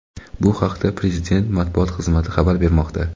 Bu haqda prezident Matbuot xizmati xabar bermoqda.